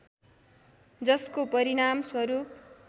जसको परिणाम स्वरूप